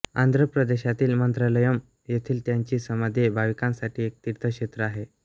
आंध्र प्रदेशातील मंत्रालयम् येथील त्यांची समाधी भाविकांसाठी एक तीर्थक्षेत्र आहे